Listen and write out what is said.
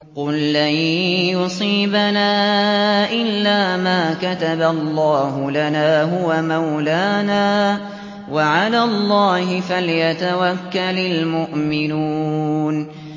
قُل لَّن يُصِيبَنَا إِلَّا مَا كَتَبَ اللَّهُ لَنَا هُوَ مَوْلَانَا ۚ وَعَلَى اللَّهِ فَلْيَتَوَكَّلِ الْمُؤْمِنُونَ